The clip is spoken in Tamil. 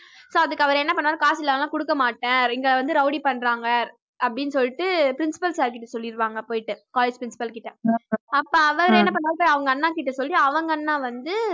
so அதுக்கு அவரு என்ன பண்ணுவாரு காசில்லாம குடுக்கமாட்டேன் இங்க வந்து rowdy பண்றாங்க அப்படின்னு சொல்லிட்டு principal sir கிட்டசொல்லிடுவாங்க போயிட்டு college principal கிட்ட அப்ப அவரு என்ன பண்ணுவாரு போய் அவங்க அண்ணா கிட்ட சொல்லி அவ்ங்க அண்ணா வந்து